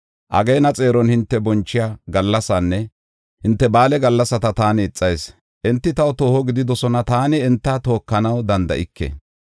Ageena xeeron hinte bonchiya gallasaanne hinte ba7aale gallasata taani ixas; enti taw tooho gididosona; taani enta tookanaw danda7ike.